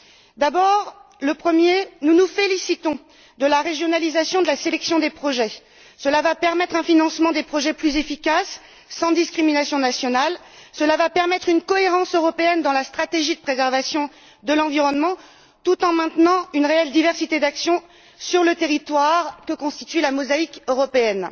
Tout d'abord, nous nous félicitons de la régionalisation de la sélection des projets, qui permettra un financement plus efficace de ceux ci, sans discrimination nationale, en contribuant à une cohérence européenne dans la stratégie de préservation de l'environnement, tout en maintenant une réelle diversité d'action sur le territoire que constitue la mosaïque européenne.